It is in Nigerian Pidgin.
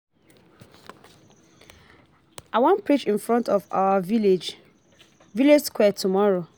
I wan preach in front of our village village square tomorrow